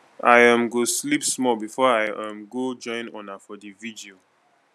i um go sleep small before i um go join una for di virgil